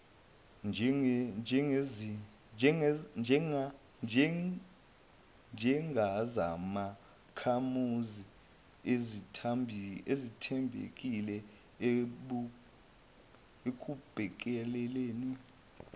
njengezakhamuzi ezithembekile ekubhekeleni